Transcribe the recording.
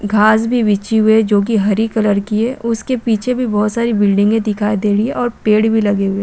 घास भी बिछी हुई है जोकि हरी कलर की है उसके पीछे भी बोहोत सारी बिल्डिंगे दिखाई दे रही है और पेड़ भी लगे हुए--